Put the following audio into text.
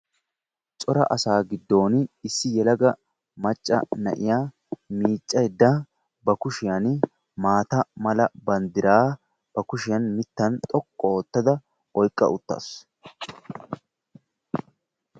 Cora asa giddon issi yelaga na'iyaa miiccaydda ba kushiyaan maata mala banddira ba kushiyaan toqqu oottada oyiqqa uttaasu.